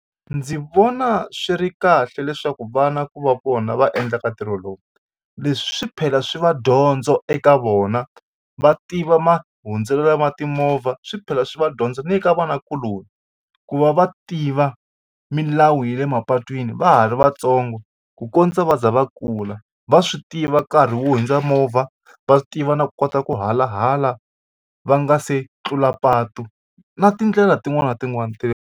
Ndzi vona swi ri kahle leswaku vana ku va vona va endlaka ntirho lowu leswi swi phela swi va dyondzo eka vona va tiva mahundzelo ma timovha swi phela swi va dyondzo ni le ka vanakuloni ku va va tiva milawu ya le mapatwini va ha ri vatsongo ku kondza va za va kula va swi tiva nkarhi wo hundza movha va tiva na ku kota ku halahala va nga se tlula patu na tindlela tin'wani na tin'wani .